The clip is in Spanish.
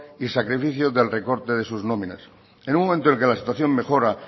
y sacrificio del recorte de sus nominas en un momento en que la situación mejora